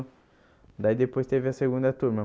Daí depois teve a segunda turma.